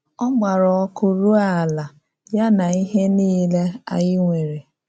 Ọ gbàrá ọkụ rùo àlà, ya na ihe nìlè ànyí nwere.